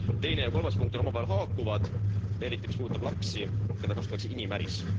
Teine ja kolmas punkt on omavahel haakuvad, eriti mis puudutab lapsi, keda kasutatakse inimäris.